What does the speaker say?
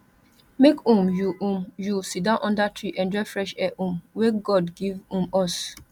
make um you um you siddon under tree enjoy fresh air um wey god give um us